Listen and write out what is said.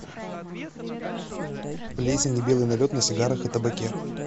плесень и белый налет на сигарах и табаке